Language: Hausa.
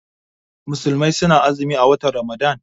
Musulmai suna azumi a watan ramadan